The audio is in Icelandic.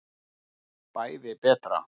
Bæði betra.